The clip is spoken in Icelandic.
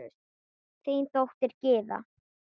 Þín dóttir, Gyða.